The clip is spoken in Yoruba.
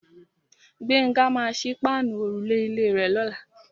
Gbénga maa sí páànù òrùlé ilé rè lọ́la.